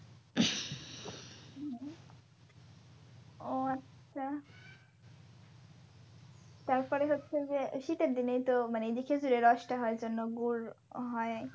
ও আচ্ছা তারপরে হচ্ছে যে শীতের দিনেই তো মানে এইযে খেজুরের রস টা হয় জন্য গুড় হয়